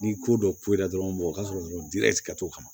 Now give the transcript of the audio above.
Ni ko dɔ ko la dɔrɔn mɔgɔ ka sɔrɔ dɔrɔn t'o kama